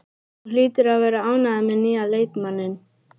Þú hlýtur að vera ánægður með nýja leikmanninn?